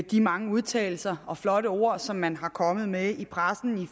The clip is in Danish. de mange udtalelser og flotte ord som man er kommet med i pressen i